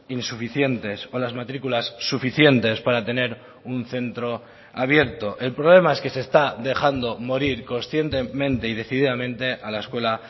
insuficientes o las matriculas suficientes para tener un centro abierto el problema es que se está dejando morir conscientemente y decididamente a la escuela